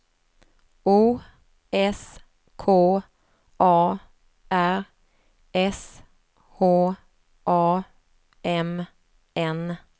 O S K A R S H A M N